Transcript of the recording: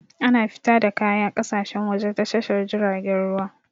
Ana fita da kaya ƙasashen waje ta Tashar jiragen ruwa.